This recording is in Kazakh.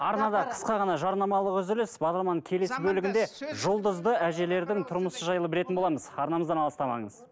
арнада қысқа ғана жарнамалық үзіліс бағдарламаның келесі бөлігінде жұлдызды әжелердің тұрмысы жайлы білетін боламыз арнамыздан алыстамаңыз